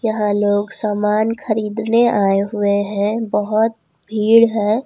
यहां लोग सामान खरीदने आए हुए हैं बहुत भीड़ है।